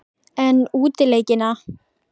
En útileikina?